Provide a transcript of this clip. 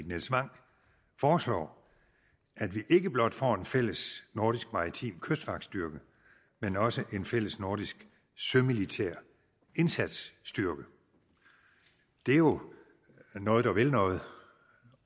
nils wang foreslår at vi ikke blot får en fællesnordisk maritim kystvagtstyrke men også en fællesnordisk sømilitær indsatsstyrke det er jo noget der vil noget